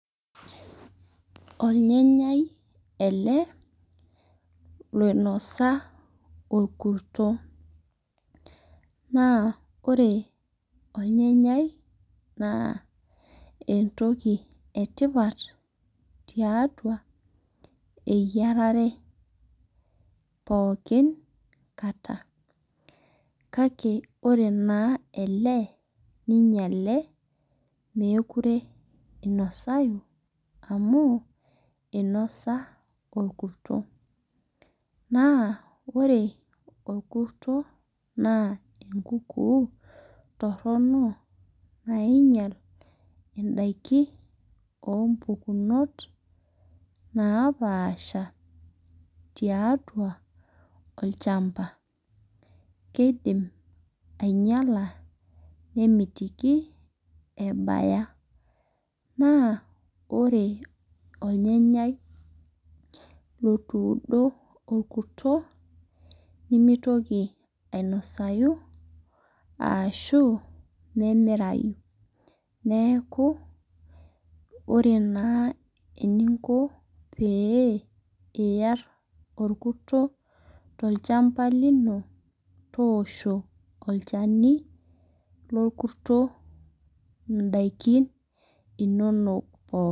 Olyanyai ele oinosa olkurto, naa ore olnyanyai, naa entoki e tipat tiatua eyierarre pookin kata. Kake ore naa ele neinyale, mekure einosayu amu einosa olkurto. Naa ore olkurto, naa enkukuu torno nainyal indaiki oo mpukunot napaasha tiatua olchamba. Keidim ainyala, nemitiki ebaya, naa ore olnyanyai, lotuudo olkurto, nemeitoki ainosayu arashu memeirayu, neaku ore naa eninko pee iyar olkurto tolchamba lino, toosho olchani lolkurto indaikin inono pookin.